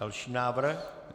Další návrh.